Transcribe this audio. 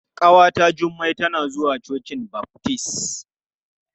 Ƙawata Jummai tana zuwa cocin baftis.